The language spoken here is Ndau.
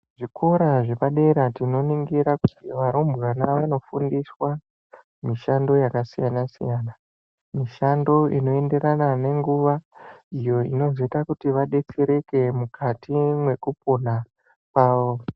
Zvikora zvepadera tinoningira kuti varumbwana vanofundiswa mishando yakasiyana-siyana. Mishando inoenderana nenguva iyo inozoita kuti vadetsereke mukati mwekupona kwavo.